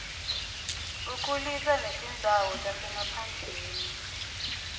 ukhulisa netindzawo tasemaphandleni